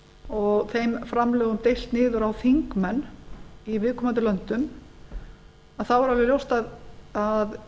og þeim framlögum deilt niður á þingmenn í viðkomandi löndum þá er alveg ljóst að